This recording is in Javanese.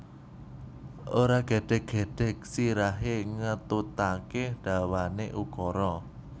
Ora gedhek gedhek sirahe ngetutake dawane ukara